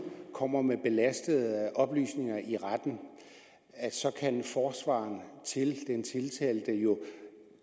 kommer med belastende oplysninger i retten så kan forsvareren til den tiltalte jo